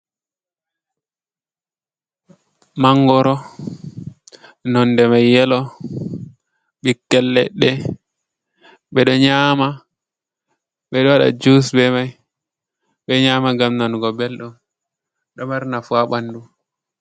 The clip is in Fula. Mangoro, nonde mai yelo ɓikkel leɗɗe beɗo nyama ɓeɗo waɗa jus be mai, ɓeɗo nyama ngam nanugo belɗum, ɗo mari nafu ha ɓandu.